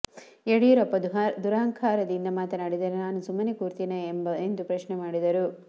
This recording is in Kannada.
ಯಡಿಯೂರಪ್ಪ ದುರಹಂಕಾರದಿಂದ ಮಾತನಾಡಿದರೆ ನಾನು ಸುಮ್ಮನೆ ಕೂರ್ತೀನಾ ಎಂದು ಪ್ರಶ್ನೆ ಮಾಡಿದರು